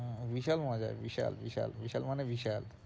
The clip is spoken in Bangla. হম বিশাল মজা বিশাল বিশাল, বিশাল মানে বিশাল